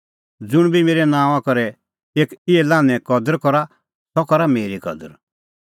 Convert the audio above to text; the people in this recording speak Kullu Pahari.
ज़ुंण बी मेरै नांओंआं करै एक इहै लान्हें कदर करा सह करा मेरी कदर